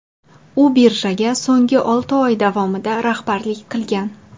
U birjaga so‘nggi olti yil davomida rahbarlik qilgan.